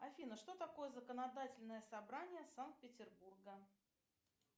афина что такое законодательное собрание санкт петербурга